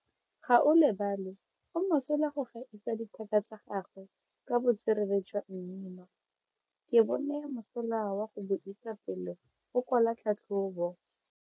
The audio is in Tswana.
Gaolebalwe o mosola go gaisa dithaka tsa gagwe ka botswerere jwa mmino. Ke bone mosola wa go buisa pele o kwala tlhatlhobo.